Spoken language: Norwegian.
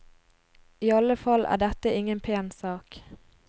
I alle fall er dette ingen pen sak.